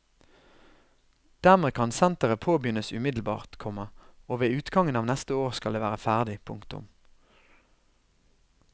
Dermed kan senteret påbegynnes umiddelbart, komma og ved utgangen av neste år skal det være ferdig. punktum